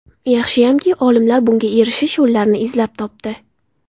Yaxshiyamki olimlar bunga erishish yo‘llarini izlab topdi.